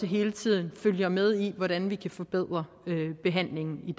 hele tiden følger med i hvordan vi kan forbedre behandlingen i